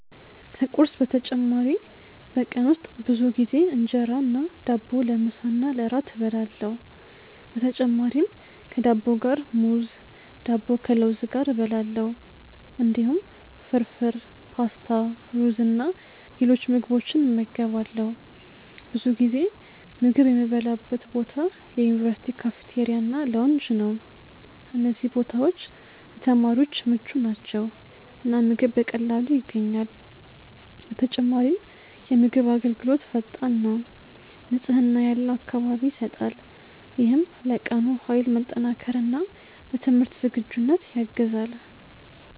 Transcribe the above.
ከቁርስ በተጨማሪ በቀን ውስጥ ብዙ ጊዜ እንጀራ እና ዳቦ ለምሳ እና ለእራት እበላለሁ። በተጨማሪም ከዳቦ ጋር ሙዝ፣ ዳቦ ከለውዝ ጋር እበላለሁ። እንዲሁም ፍርፍር፣ ፓስታ፣ ሩዝ እና ሌሎች ምግቦችን እመገባለሁ። ብዙ ጊዜ ምግብ የምበላበት ቦታ የዩኒቨርሲቲ ካፍቴሪያ እና ላውንጅ ነው። እነዚህ ቦታዎች ለተማሪዎች ምቹ ናቸው እና ምግብ በቀላሉ ይገኛል። በተጨማሪም የምግብ አገልግሎት ፈጣን ነው፣ ንጽህና ያለው አካባቢ ይሰጣል። ይህም ለቀኑ ኃይል መጠናከር እና ለትምህርት ዝግጁነት ያግዛል።